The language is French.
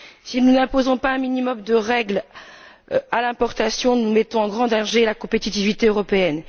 Si nous n'imposons pas un minimum de règles à l'importation, nous mettons en grand danger la compétitivité européenne.